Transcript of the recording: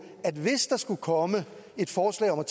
at hvis der skulle komme et forslag om at